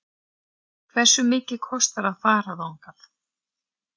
Hversu mikið kostar að fara þangað?